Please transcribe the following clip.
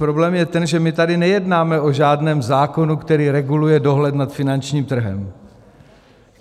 Problém je ten, že my tady nejednáme o žádném zákonu, který reguluje dohled nad finančním trhem.